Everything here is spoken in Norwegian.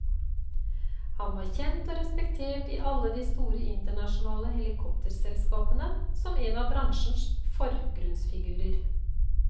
Han var kjent og respektert i alle de store internasjonale helikopterselskapene som en av bransjens forgrunnsfigurer.